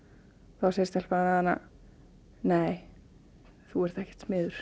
þá segir stelpan við hana nei þú ert ekkert smiður